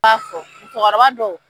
Maa fɔ musokɔrɔba dow.